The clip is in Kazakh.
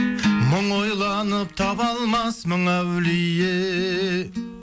мың ойланып таба алмас мың әулие